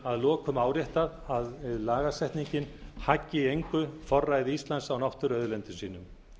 að lokum áréttað að lagasetningin haggi í engu forræði íslands á náttúruauðlindum sínum